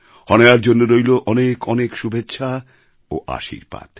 হনায়ার জন্য রইল অনেক অনেক শুভেচ্ছা ও আশীর্বাদ